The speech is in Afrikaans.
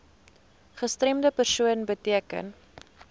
gestremde persoon beteken